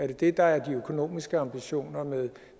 det der er de økonomiske ambitioner med